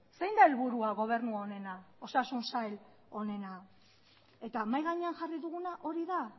zein da helburua gobernu honena osasun sail honena eta mahai gainean jarri duguna hori da